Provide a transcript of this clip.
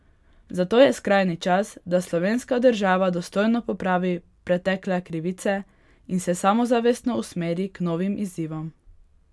Zato je skrajni čas, da slovenska država dostojno popravi pretekle krivice in se samozavestno usmeri k novim izzivom.